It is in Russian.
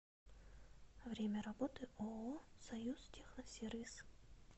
время работы ооо союзтехносервис